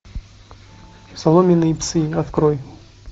соломенные псы открой